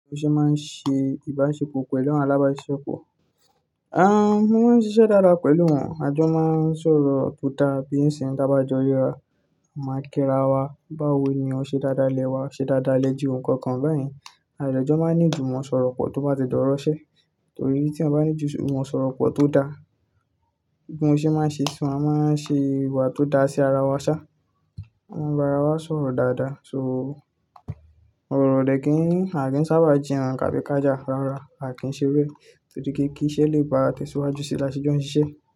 Ìgbà tí ó ṣe máa ń ṣe ìbáṣepọ̀ pẹ̀lú àwọn alábáṣepọ̀, a máa ń ṣiṣẹ́ dáadáa pẹ̀lú wọn. Àjọ máa ń sọ̀rọ̀ tó dáa, bí ń ṣe dá bá jọ yíra máa kíra wa, bá wo ni o ṣe dáadáa lẹ wá, ṣe dáadáa lẹ jù ohunkóhun báyìí. Àlejò máa ń ní ju ìwọ̀n sọ̀rọ̀ pọ̀ tó bá ti dọ́rọ́ ṣẹ. Torí tí wọ́n bá ní ju ìwọ̀n sọ̀rọ̀ pọ̀ tó dáa, ìgbó ìṣe máa ṣe ṣán, a máa ṣe ìwà tó dáa sí ara wa sá. Wọ́n máa bá wa sọ̀rọ̀ dáadáa. So òróró lè kí n, a kì í sábà jìnà kàbí kájà rọra, a kì í ṣe rú ẹ, torí pé kí iṣẹ́ lè bá tẹ̀síwájú sílẹ̀ lásẹ́jú ọ̀ṣọ́ ṣiṣẹ́.